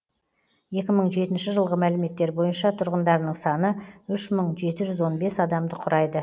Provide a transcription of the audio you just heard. екі мың жетінші жылғы мәліметтер бойынша тұрғындарының саны үш мың жеті жүз он бес адамды құрайды